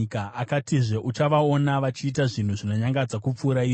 Akatizve, “Uchavaona vachiita zvinhu zvinonyangadza kupfuura izvi.”